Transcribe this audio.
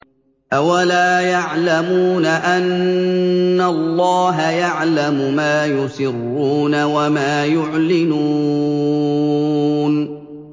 أَوَلَا يَعْلَمُونَ أَنَّ اللَّهَ يَعْلَمُ مَا يُسِرُّونَ وَمَا يُعْلِنُونَ